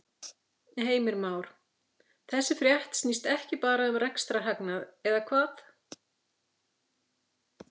Heimir Már: Þessi frétt snýst ekki bara um rekstrarhagnað eða hvað?